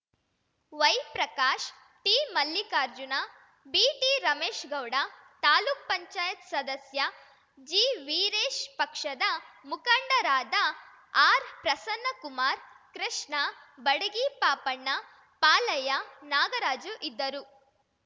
ವೈಪ್ರಕಾಶ್‌ ಟಿಮಲ್ಲಿಕಾರ್ಜುನ ಬಿಟಿರಮೇಶ್‌ಗೌಡ ತಾಲ್ಲುಕ್ ಪಂಚಾಯತ್ ಸದಸ್ಯ ಜಿವೀರೇಶ್‌ ಪಕ್ಷದ ಮುಖಂಡರಾದ ಆರ್‌ಪ್ರಸನ್ನಕುಮಾರ್‌ ಕೃಷ್ಣ ಬಡಗಿಪಾಪಣ್ಣ ಪಾಲಯ್ಯ ನಾಗರಾಜು ಇದ್ದರು